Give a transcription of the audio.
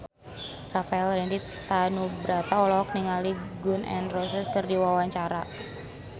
Rafael Landry Tanubrata olohok ningali Gun N Roses keur diwawancara